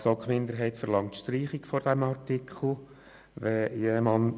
Die GSoK Minderheit verlangt die Streichung des Artikels 31c (neu).